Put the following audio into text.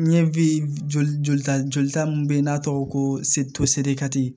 N ye joli ta jolita mun be yen n'a tɔgɔ ko